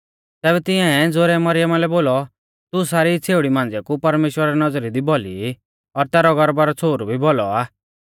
तैबै तिंआऐ ज़ोरै मरियमा लै बोलौ तू सारी छ़ेउड़ी मांझ़िया कु परमेश्‍वरा री नौज़री दी भौली ई और तैरौ गर्भा रौ छ़ोहरु भी भौलौ आ